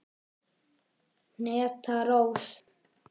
Hneta Rós.